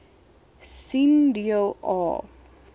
sien deel a